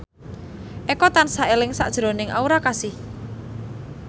Eko tansah eling sakjroning Aura Kasih